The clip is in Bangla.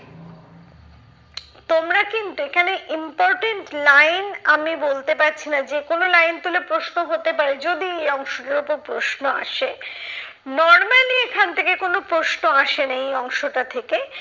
তোমরা কিন্তু এখানে important line আমি বলতে পারছি না যে কোনো line তুলে প্রশ্ন হতে পারে যদি এই অংশটির ওপর প্রশ্ন আসে। normally এখন থেকে কোনো প্রশ্ন আসে না এই অংশটা থেকে,